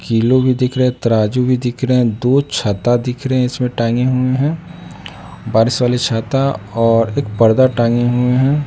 Kilo भी दिख रहा तराजू भी दिख रहे हैं दो छाता दिख रहे इसमें टांगे हुए हैं बारिश वाली छाता और एक परदा टांगे हुए हैं।